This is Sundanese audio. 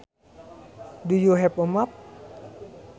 Do you have a map